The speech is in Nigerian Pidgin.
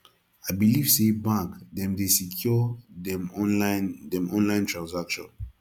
i beliv sey bank dem dey secure dem online dem online transaction